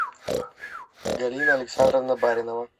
галина александровна баринова